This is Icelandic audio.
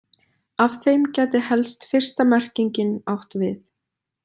Af þeim gæti helst fyrsta merkingin átt við.